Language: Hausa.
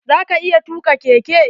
Za ka iya tuka keke?